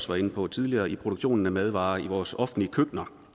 var inde på tidligere i produktionen af madvarer i vores offentlige køkkener